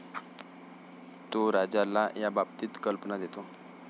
तो राजाला याबाबतीत कल्पना देतो.